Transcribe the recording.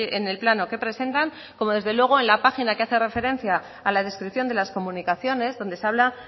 en el plano que presentan como desde luego en la página que hace referencia a la descripción de las comunicaciones donde se habla